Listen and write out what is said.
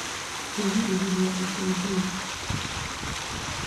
Kũgirĩrĩria itindiĩ